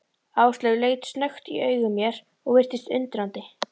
Áslaug leit snöggt í augu mér og virtist undrandi.